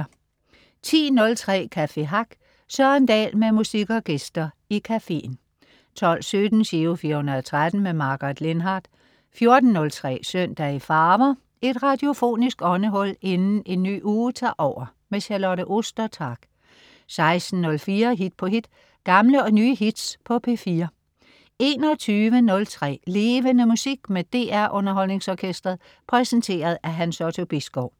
10.03 Café Hack. Søren Dahl med musik og gæster i cafeen 12.17 Giro 413. Margaret Lindhardt 14.03 Søndag i farver. Et radiofonisk åndehul inden en ny uge tager over. Charlotte Ostertag 16.04 Hit på hit. Gamle og nye hits på P4 21.03 Levende Musik med DR UnderholdningsOrkestret. Præsenteret af Hans Otto Bisgaard